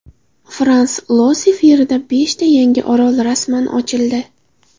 Frans-Iosif yerida beshta yangi orol rasman ochildi.